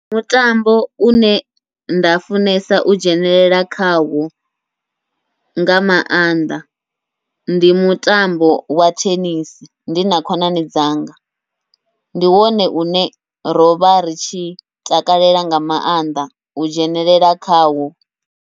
Mutambo une nda funesa u dzhenelela khawo nga maanḓa, ndi mutambo wa thenisi ndi na khonani dzanga ndi wone une rovha ritshi takalela nga maanḓa u dzhenelela khawo.